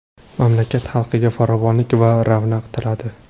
Mamlakat xalqiga farovonlik va ravnaq tiladi.